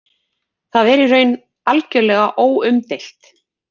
Það er í raun algjörlega óumdeilt